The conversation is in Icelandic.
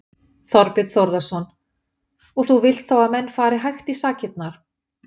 Þorbjörn Þórðarson: Og þú vilt þá að menn fari hægt í sakirnar?